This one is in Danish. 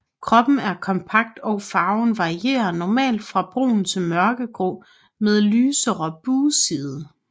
Kroppen er kompakt og farven varierer normalt fra brun til mørkegrå med lysere bugside